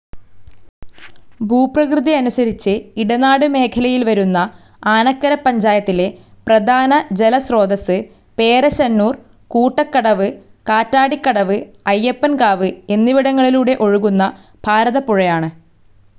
ഭൂപ്രകൃതിയനുസരിച്ച് ഇടനാട്മേഖലയിൽ വരുന്ന ആനക്കര പഞ്ചായത്തിലെ പ്രധാന ജലസ്രോതസ്സ് പേരശ്ശന്നൂർ, കൂട്ടക്കടവ്, കാറ്റാടിക്കടവ്, അയ്യപ്പൻ‍കാവ് എന്നിവിടങ്ങളിലൂടെ ഒഴുകുന്ന ഭാരതപ്പുഴയാണ്.